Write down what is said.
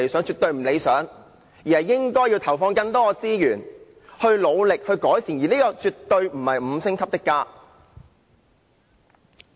政府應該投放更多資源努力改善，而這亦絕對不是甚麼"五星級的家"。